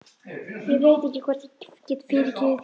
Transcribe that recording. Ég veit ekki hvort ég get fyrirgefið þér.